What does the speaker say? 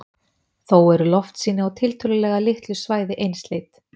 þó eru loftsýni á tiltölulega litlu svæði einsleit